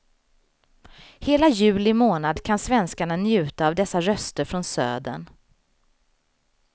Hela juli månad kan svenskarna njuta av dessa röster från södern.